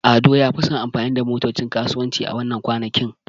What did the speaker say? Ado ya fi son yin amfani da motocin kasuwanci a wannan kwanakin.